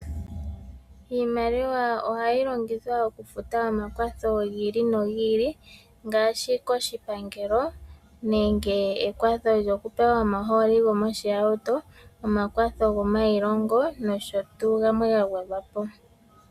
Iimaliwa ohayi longithwa okufuta omakwatho gili no gili ngaashi koshipangelo nenge ekwatho lyokupewa omaholi goohauto, omakwatho gomayilongo nosho tuu gamwe ga gwedhwapo.